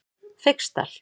Feigsdal